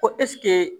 Ko